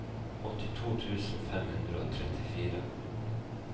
åttito tusen fem hundre og trettifire